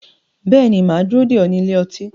Bẹ́ẹ̀ ni, mà á dúró dè ọ́ ní ilé ọtí